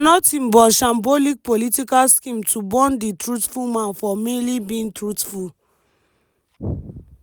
na nothing but shambolic political scheme to hound di truthful man for merely bein truthful.”